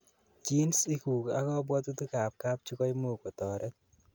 genes iguk ak kabwotutik ab kapchii koimuch kotoret